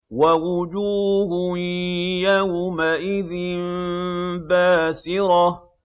وَوُجُوهٌ يَوْمَئِذٍ بَاسِرَةٌ